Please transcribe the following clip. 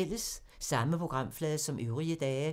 Samme programflade som øvrige dage